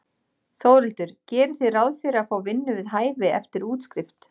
Þórhildur: Gerið þið ráð fyrir að fá vinnu við hæfi eftir útskrift?